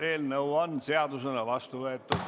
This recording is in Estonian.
Eelnõu on seadusena vastu võetud.